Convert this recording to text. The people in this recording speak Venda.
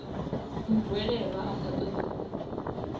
muhwelelwa a sa ṱoḓi u